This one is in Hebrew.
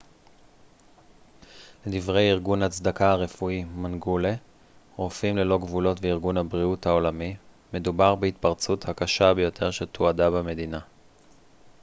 לדברי ארגון הצדקה הרפואי מנגולה רופאים ללא גבולות וארגון הבריאות העולמי מדובר בהתפרצות הקשה ביותר שתועדה במדינה